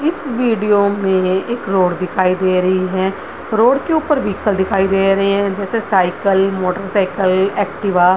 इस वीडियो में एक रोड दिखाई दे रही है रोड के ऊपर विह्कल दिखाई दे रहे है साइकिल मोटर साइकल एक्टिवा --